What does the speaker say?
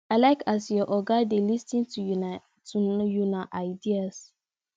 i like as your oga dey lis ten to una ideas